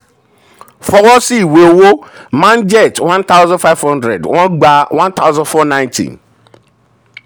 fọwọ́ sí ìwé owó manjeet one thousand five hundred wọ́n gba one thousand four nighty.